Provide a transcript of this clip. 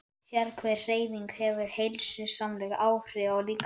Sérhver hreyfing hefur heilsusamleg áhrif á líkamann.